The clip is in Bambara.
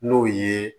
N'o ye